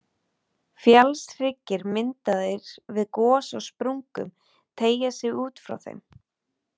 Fjallshryggir myndaðir við gos á sprungum teygja sig út frá þeim.